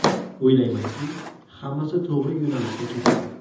O‘ylamanki, hammasi to‘g‘ri yo‘nalishda ketadi.